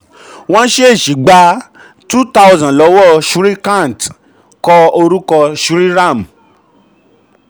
14. wọ́n ṣẹ̀ ṣì gba two thousand lọ́wọ́ shrikant kọ orúkọ shriman.